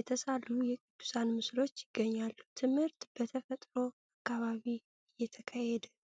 የተሳሉ የቅዱሳን ምስሎች ይገኛሉ። ትምህርት በተፈጥሮ አካባቢ እየተካሄደ ነው።